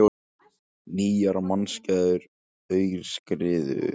Nýjar mannskæðar aurskriður